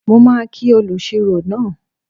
Mo máa kí olùṣirò náà